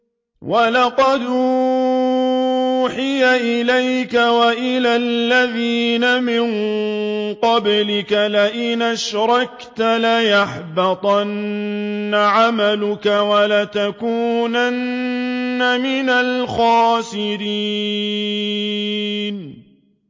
وَلَقَدْ أُوحِيَ إِلَيْكَ وَإِلَى الَّذِينَ مِن قَبْلِكَ لَئِنْ أَشْرَكْتَ لَيَحْبَطَنَّ عَمَلُكَ وَلَتَكُونَنَّ مِنَ الْخَاسِرِينَ